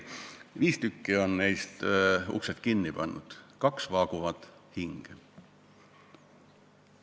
Viis tükki neist on uksed kinni pannud, kaks vaaguvad hinge.